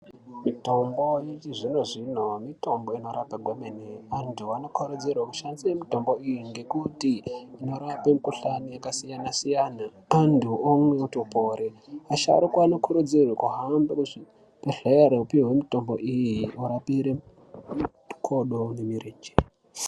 Mutombo yechizvino-zvino mitombo inorapa kwemene. Antu anokurudzirwe kushandise mutombo iyi ngekuti, inorape mikhuhlani yakasiyana-siyana. Antu omwe, otopore. Asharuka anokurudzirwe kuhambe kuzvibhedhlere, opihwe mitombo iyi orapihwe makodo nemirenje.